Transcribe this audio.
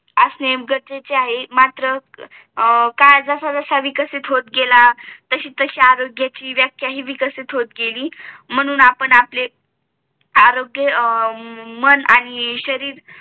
असणे गरजेचे आहे मात्र काळ जसा जसा विकसित होत गेला तशी तशी आरोग्याची व्याख्या हि विकसित होत गेली म्हणून आपण आपले आरोग्य मन आणि शरीर